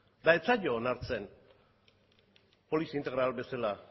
eta ez zaio onartzen polizi integral bezala